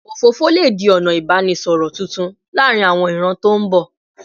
Òfófó lè di ọ̀nà ìbánisọ̀rọ̀ tuntun láàárín àwọn ìran tó ń bọ̀